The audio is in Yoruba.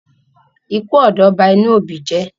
ikú ọ̀dọ́ bá inú òbí jé.